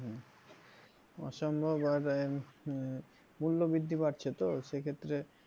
অসম্ভব আর আহ মূল্যবৃদ্ধি বাড়ছে তো সেক্ষেত্রে